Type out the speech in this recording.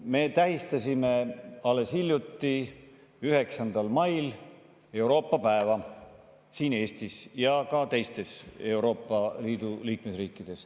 Me tähistasime alles hiljuti, 9. mail Euroopa päeva siin Eestis ja seda tähistati ka teistes Euroopa Liidu liikmesriikides.